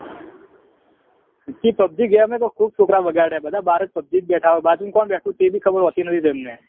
પેલી pubg game એ તો ખુબ છોકરા બગડ્યા હે બધા બાર જ pubg જ બેઠા હોય બાજુમાં કોણ બેઠું હે એભી ખબર હોતી નહી તેમને